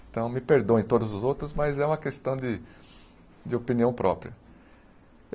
Então, me perdoem todos os outros, mas é uma questão de de opinião própria.